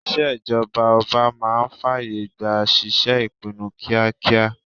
Ìṣèjọba ọba máa ń fàyè gba ṣíṣe ìpinnu kíákíá